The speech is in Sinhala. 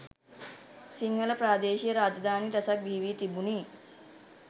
සිංහල ප්‍රාදේශීය රාජධානි රැසක් බිහි වී තිබුණි.